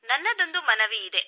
ನನ್ನದೊಂದು ಮನವಿಯಿದೆ